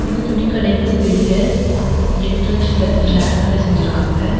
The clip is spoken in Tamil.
இது துணி கடைக்கு வெளிய என்ட்ரன்ஸ்ல கிளாஸ்ஸால செஞ்சுருக்காங்க.